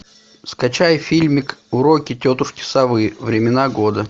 скачай фильмик уроки тетушки совы времена года